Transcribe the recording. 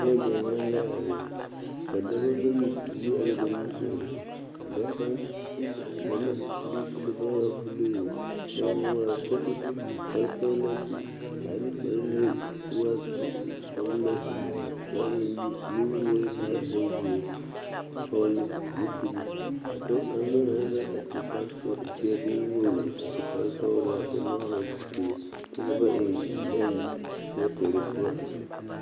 pɔge gyamaa la are ka dɔbɔ bayi te yi are ba nimisɔgɔ a dɔɔ kaŋa kuri naŋ waa buluu kyɛ ka o de kpare sɔglaa su a de kparelee kyɛ eŋ nuwoore ka a e bonzeere a vɔgle zupili ka dɔɔ kaŋ meŋ are la a su kpare sɔglaa zee boŋ wogri a su kpare sɔglaa kyɛ vɔgle zupili kyɛ ka ba eŋ nɛne pɛrɛtɛre poɔ a biŋ.